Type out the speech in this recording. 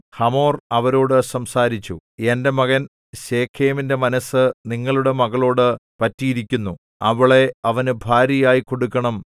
hamour അവരോടു സംസാരിച്ചു എന്റെ മകൻ ശെഖേമിന്റെ മനസ്സ് നിങ്ങളുടെ മകളോട് പറ്റിയിരിക്കുന്നു അവളെ അവന് ഭാര്യയായി കൊടുക്കണം